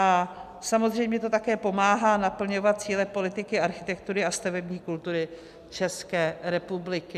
A samozřejmě to také pomáhá naplňovat cíle politiky architektury a stavební kultury České republiky.